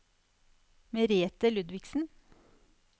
Merethe Ludvigsen